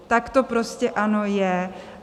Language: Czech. Tak to prostě, ano, je.